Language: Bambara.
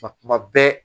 Nka kuma bɛɛ